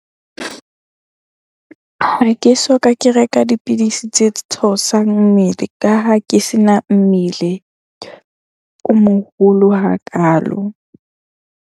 Ha ke soka ke reka dipidisi tse theosang mmele ka ha ke se na mmele o moholo hakalo.